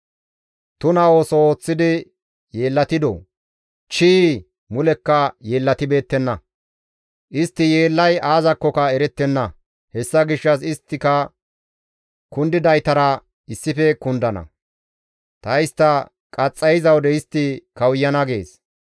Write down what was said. Tuna ooso ooththidi yeellatidoo? Chii! Mulekka yeellatibeettenna. Istti yeellay aazakkoka erettenna. Hessa gishshas isttika kundidaytara issife kundana; ta istta qaxxayiza wode istti kawuyana» gees.